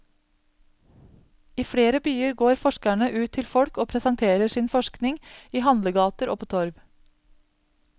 I flere byer går forskerne ut til folk og presenterer sin forskning i handlegater og på torv.